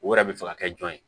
O yɛrɛ bɛ fɛ ka kɛ jɔn ye